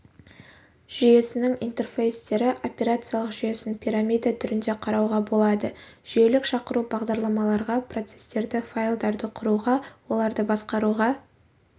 жүйесінің интерфейстері операциялық жүйесін пирамида түрінде қарауға болады жүйелік шақыру бағдарламаларға процестерді файлдарды құруға оларды басқаруға